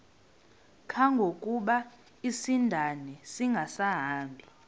kangangokuba isindane ingasahambi